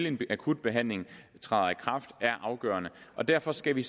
en akutbehandling træder i kraft er afgørende og derfor skal vi